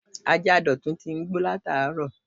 Ajá Dotun ti ń gbó lataaro